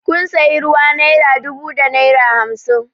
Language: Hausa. Kun sayi ruwa naira dubu da naira hamsin